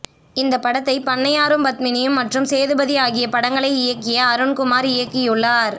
இந்த படத்தை பண்ணையாரும் பத்மினியும் மற்றும் சேதுபதி ஆகிய படங்களை இயக்கிய அருண்குமார் இயக்கியுள்ளார்